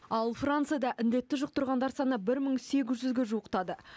ал францияда індетті жұқтырғандар саны бір мың сегіз жүзге жуықтады